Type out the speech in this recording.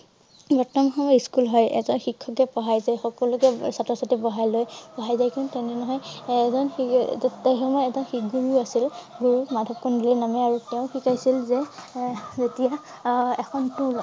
School হয়। এটা পঢ়াই যায় সকলোকে ছাত্ৰ ছাত্ৰীক বহাই লৈ পঢ়াই জাই। কিন্তু তেনে ধৰণে এজন সেই সময়ত এজন আছিল গুৰু মাধৱ কন্দলী নামে আৰু তেওঁ শিকাইছিল যে আহ যেতিয়া আহ এখন টোল